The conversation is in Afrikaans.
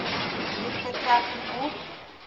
het betrekking op